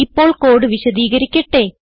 ഇപ്പോൾ കോഡ് വിശദീകരിക്കട്ടെ